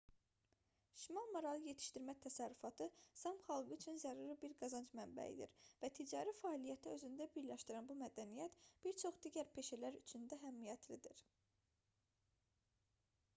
şimal maralı yetişdirmə təsərrüfatı saam xalqı üçün zəruri bir qazanc mənbəyidir və ticari fəaliyyəti özündə birləşdirən bu mədəniyyət bir çox digər peşələr üçün də əhəmiyyətlidir